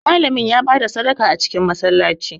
Malamin ya ba da sadaka a cikin Masallaci